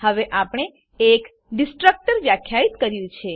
હવે આપણે એક ડીસ્ટ્રકટર વ્યાખ્યિત કર્યું છે